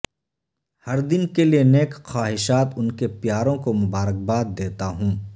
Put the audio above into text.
ہر دن کے لئے نیک خواہشات ان کے پیاروں کو مبارکباد دیتا ہوں